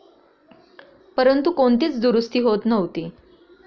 परंतु, कोणतीच दुरुस्ती होत नव्हती.